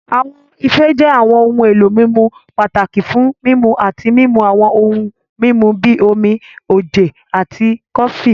Awọn ife jẹ awọn ohun elo mimu pataki fun mimu ati mimu awọn ohun mimu bi omi, oje, ati kofi.